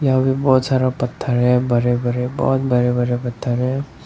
और ये बहुत सारा पत्थर है बड़े बड़े बहुत बड़े बड़े पत्थर है।